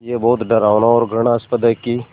ये बहुत डरावना और घृणास्पद है कि